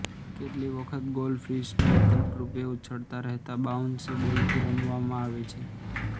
કેટલીક વખત ગોલ્ડફિશના વિકલ્પરૂપે ઉછળતા રહેતા બાઉન્સી બોલથી રમવામાં આવે છે